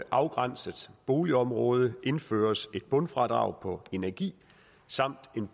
afgrænset boligområde indføres et bundfradrag på energi samt en